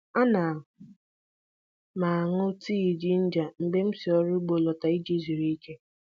Ana m aṅụ tii ginger mgbe m si n'ugbo lọta iji zuru ike.